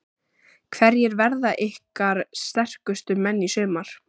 Hverjir verða ykkar sterkustu menn í sumar?